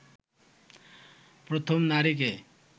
প্রথম নারীকে